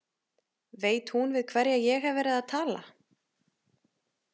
Veit hún við hverja ég hef verið að tala?